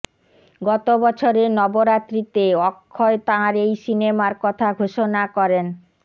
গতবছরের নবরাত্রিতে অক্ষয় তাঁর এই সিনেমার কথা ঘোষণা করেন